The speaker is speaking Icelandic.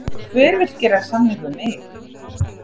Hver vill gera samning við mig?